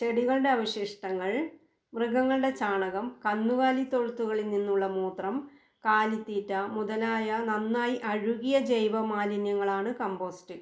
ചെടികളുടെ അവശിഷ്ടങ്ങൾ, മൃഗങ്ങളുടെ ചാണകം, കന്നുകാലിത്തൊഴുത്തുകളിൽ നിന്നുള്ള മൂത്രം, കാലിത്തീറ്റ മുതലായ നന്നായി അഴുകിയ ജൈവമാലിന്യങ്ങളാണ് കമ്പോസ്റ്റ്.